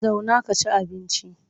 Zauna ka ci abinci!